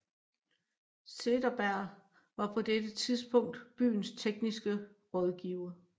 Cederberg var på dette tidspunkt byens tekniske rådgiver